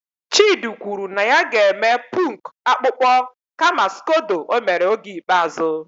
Chidi kwuru na ya ga-eme punk akpụkpọ kama skodo o mere oge ikpeazụ